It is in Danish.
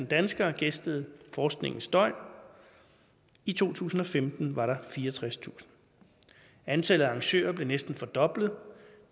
danskere gæstede forskningens døgn i to tusind og femten var der fireogtredstusind antallet af arrangører blev næsten fordoblet